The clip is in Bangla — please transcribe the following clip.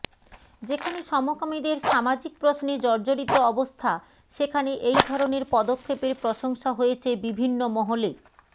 যেখানে সমকামীদের সামাজিক প্রশ্নে জর্জরিত অবস্থা সেখানে এই ধরনের পদক্ষেপের প্রশংসা হয়েছে বিভিন্ন মহলে